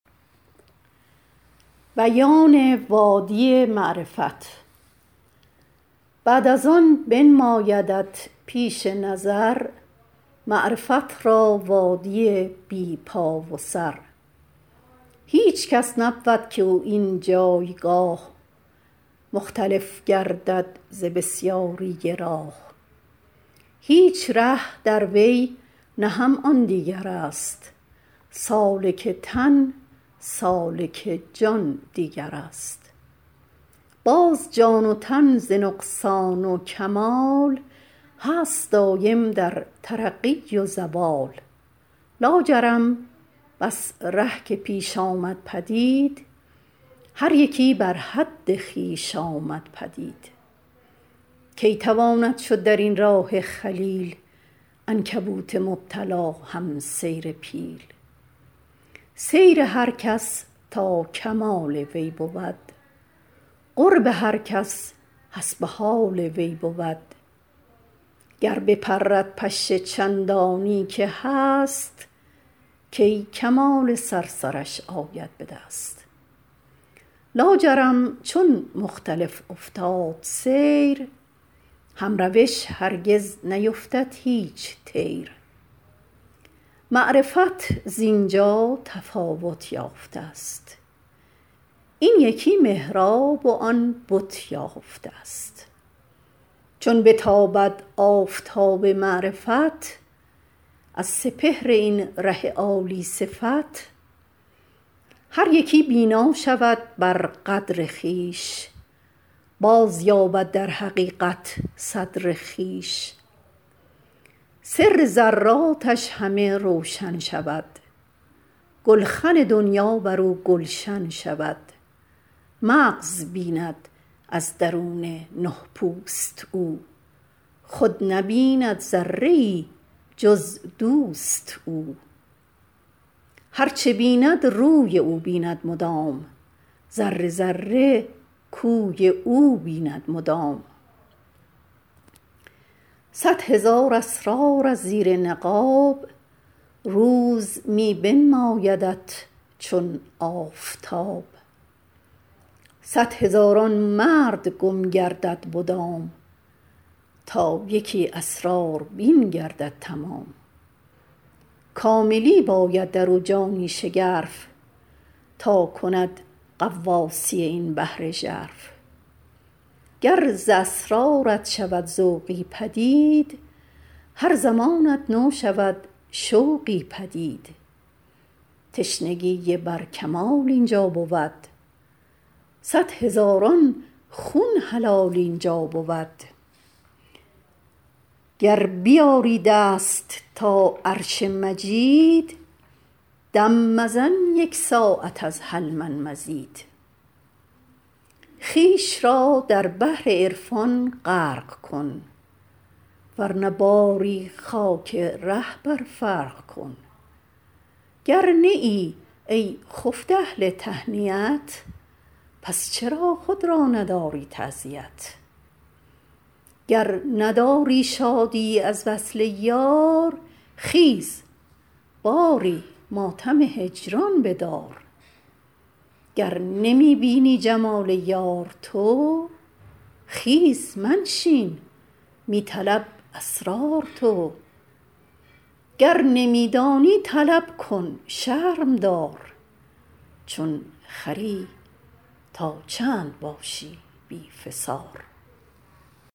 بعد از آن بنمایدت پیش نظر معرفت را وادیی بی پا و سر هیچ کس نبود که او این جایگاه مختلف گردد ز بسیاری راه هیچ ره دروی نه هم آن دیگرست سالک تن سالک جان دیگرست باز جان و تن ز نقصان و کمال هست دایم در ترقی و زوال لاجرم بس ره که پیش آمد پدید هر یکی بر حد خویش آمد پدید کی تواند شد درین راه جلیل عنکبوت مبتلا هم سیر پیل سیر هر کس تا کمال وی بود قرب هر کس حسب حال وی بود گر بپرد پشه چندانی که هست کی کمال صرصرش آید بدست لاجرم چون مختلف افتاد سیر هم روش هرگز نیفتد هیچ طیر معرفت زینجا تفاوت یافتست این یکی محراب و آن بت یافتست چون بتابد آفتاب معرفت از سپهر این ره عالی صفت هر یکی بینا شود بر قدر خویش بازیابد در حقیقت صدر خویش سر ذراتش همه روشن شود گلخن دنیا برو گلشن شود مغز بیند از درون نه پوست او خود نبیند ذره ای جز دوست او هرچ بیند روی او بیند مدام ذره ذره کوی او بیند مدام صد هزار اسرار از زیر نقاب روز می بنمایدت چون آفتاب صد هزاران مرد گم گردد مدام تا یکی اسراربین گردد تمام کاملی باید درو جانی شگرف تا کند غواصی این بحر ژرف گر ز اسرارت شود ذوقی پدید هر زمانت نو شود شوقی پدید تشنگی بر کمال اینجا بود صد هزاران خون حلال اینجا بود گر بیازی دست تا عرش مجید دم مزن یک ساعت از هل من مزید خویش را در بحر عرفان غرق کن ورنه باری خاک ره بر فرق کن گر نه ای ای خفته اهل تهنیت پس چرا خود را نداری تعزیت گر نداری شادیی از وصل یار خیز باری ماتم هجران بدار گر نمی بینی جمال یار تو خیز منشین می طلب اسرار تو گر نمی دانی طلب کن شرم دار چون خری تا چند باشی بی فسار